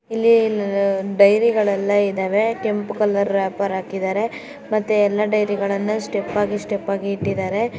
ಇಲ್ಲಿ ಡೈರಿಗಳೆಲ್ಲ ಇದಾವೆ ಕೆಂಪು ಕಲರ್ ರಾಪರ್ ಹಾಕಿದರೆ ಮತ್ತೆ ಎಲ್ಲಾ ಡೈರಿಗಳನ್ನ ಸ್ಟೆಪ್ ಆಗಿ ಸ್ಟೆಪ್ ಆಗಿ ಇಟ್ಟಿದ್ದಾರೆ.